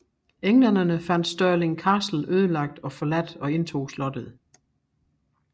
Englænderne fandt Stirling Castle øde og forladt og indtog slottet